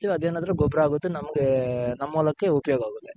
ಗೊಬ್ರ ಆಗುತ್ತೆ ನಮ್ಮಗೆ ನಮ್ಮ ಒಳಕ್ಕೆ ಉಪಯೋಗ ಆಗುತ್ತೆ .